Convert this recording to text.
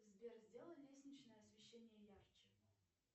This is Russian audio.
сбер сделай лестничное освещение ярче